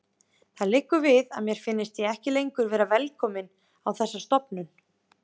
Það liggur við að mér finnist ég ekki lengur vera velkominn á þessa stofnun.